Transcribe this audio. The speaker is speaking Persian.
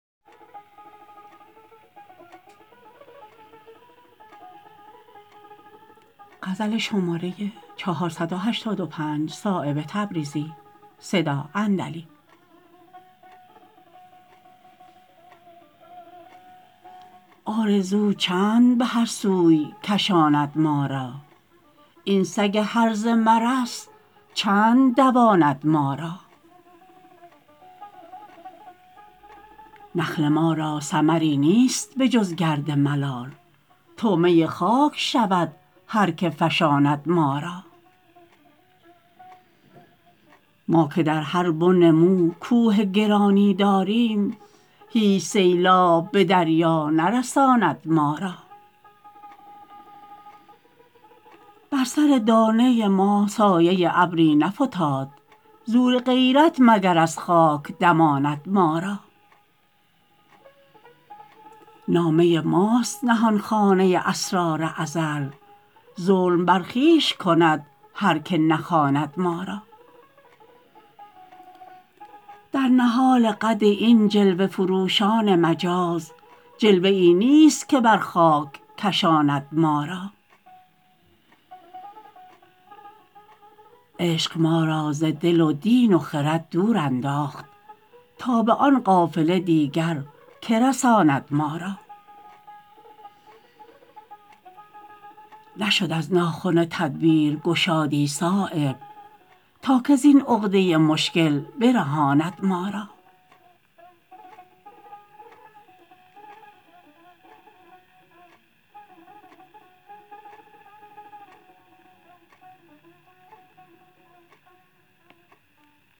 آرزو چند به هر سوی کشاند ما را این سگ هرزه مرس چند دواند ما را نخل ما را ثمری نیست به جز گرد ملال طعمه خاک شود هر که فشاند ما را ما که در هر بن مو کوه گرانی داریم هیچ سیلاب به دریا نرساند ما را بر سر دانه ما سایه ابری نفتاد زور غیرت مگر از خاک دماند ما را نامه ماست نهانخانه اسرار ازل ظلم بر خویش کند هر که نخواند ما را در نهال قد این جلوه فروشان مجاز جلوه ای نیست که بر خاک کشاند ما را عشق ما را ز دل و دین و خرد دور انداخت تا به آن قافله دیگر که رساند ما را نشد از ناخن تدبیر گشادی صایب تا که زین عقده مشکل برهاند ما را